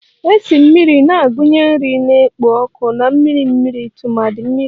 Esi mmiri na-agụnye nri na-ekpo ọkụ na mmiri mmiri tumadi mmiri